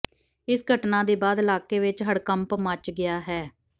ਇਸ ਘਟਨਾ ਦੇ ਬਾਅਦ ਇਲਾਕੇ ਵਿੱਚ ਹੜਕੰਪ ਮਚ ਗਿਆ ਹੈ